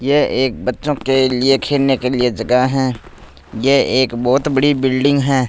ये एक बच्चों के लिए खेलने के लिए जगह है ये एक बहुत बड़ी बिल्डिंग है।